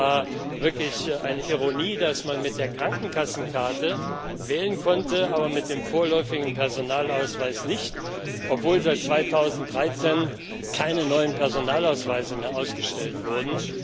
Es war wirklich eine Ironie, dass man mit der Krankenkassenkarte wählen konnte, aber mit dem vorläufigen Personalausweis nicht, obwohl seit 2013 keine neuen Personalausweise mehr ausgestellt wurden.